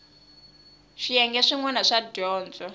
swiyenge swin wana swo dyondza